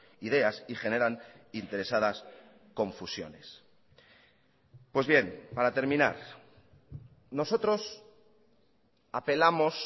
ideas y generan interesadas confusiones pues bien para terminar nosotros apelamos